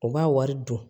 U b'a wari don